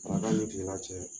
Daraka ni kilala cɛ